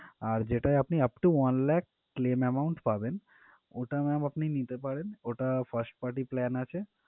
আর যেটায় আপনি upto one lakh claim amount পাবেন ওটা ma'am আপনি নিতে পারেন ওটা first party plan আছে